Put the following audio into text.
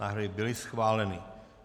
Návrhy byly schváleny.